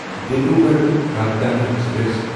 Dibrugarh Rajdhani express